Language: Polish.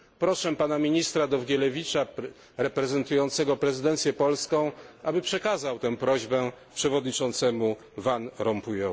Proszę pana ministra Dowgielewicza, reprezentującego prezydencję polską, aby przekazał tę prośbę przewodniczącemu Van Rompuyowi.